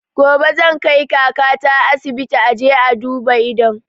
Gobe zan kai kaka ta asibiti a je a duba idon